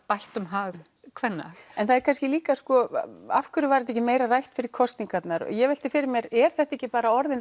bættum hag kvenna en það er kannski líka sko af hverju var þetta ekki meira rætt fyrir kosningarnar ég velti fyrir mér er þetta ekki orðið